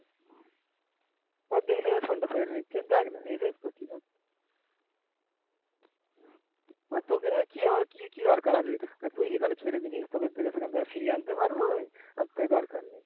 তোকে নিয়ে কি আমার কি আর দরকার আছে? তুই যেখানে ছেড়ে দিয়েছিস তোকে সেখান থেকে ফিরিয়ে আনতে পারব আমি তার থেকে দরকার নেই।